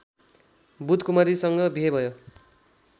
बुधकुमारीसँग बिहे भयो